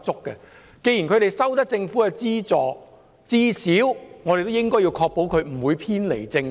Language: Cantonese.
既然這些團體獲政府資助，當局至少要確保他們不會偏離正軌。